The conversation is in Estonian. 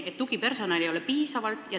Esiteks, tugipersonali ei ole piisavalt.